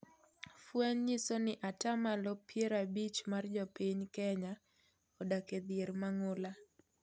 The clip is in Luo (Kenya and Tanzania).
Fweny nyisoni ataa malo piero abich mar jopiny Kenya odak e dhier mang'ula.